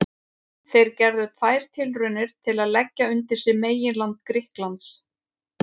Þeir gerðu tvær tilraunir til að leggja undir sig meginland Grikklands.